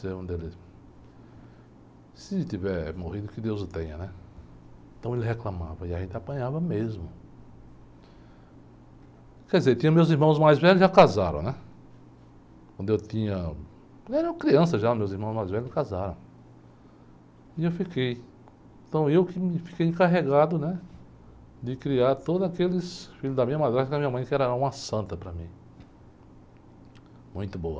se tiver morrido que deus o tenha, né? Então ele reclamava e a gente apanhava mesmo, quer dizer, tinha meus irmãos mais velhos, já casaram, né? Quando eu tinha, eu era criança, já os meus irmãos mais velhos já casaram. E eu fiquei, então eu que me, fiquei encarregado, né? De criar todos aqueles filhos da minha madrasta e da minha mãe que era uma santa para mim, muito boa.